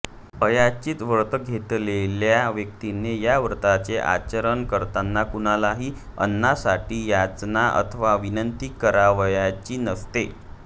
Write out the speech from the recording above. अयाचित व्रत घेतलेल्या व्यक्तीने या व्रताचे आचरण करताना कुणालाही अन्नासाठी याचना अथवा विनंती करावयाची नसते